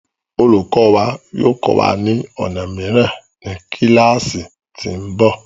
Olùkọ wa yóò kọ́ wa ni ọnà mìíràn ní kíláásì tí ń bọ̀.